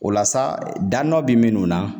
O la sa , dan dɔ be minnu na.